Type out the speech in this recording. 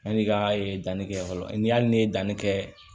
Yanni i ka danni kɛ fɔlɔ n'i hali n'i ye danni kɛ